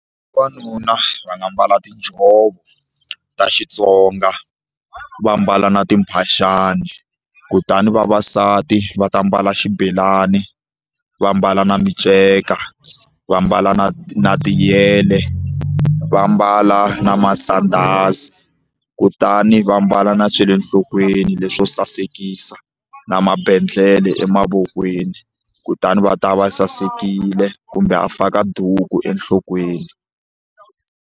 Vavanuna va nga mbala tinjhovo ta Xitsonga va mbala na timphaxani kutani vavasati va ta mbala xibelani va ambala na miceka vambala na na tiyele va mbala na masandhazi kutani va mbala na swa le nhlokweni leswo sasekisa na mabandlele emavokweni kutani va ta va sasekile kumbe a faka duku enhlokweni.